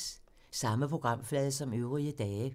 Samme programflade som øvrige dage